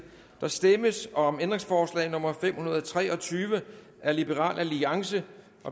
der stemmes om ændringsforslag nummer fem hundrede og tre og tyve af la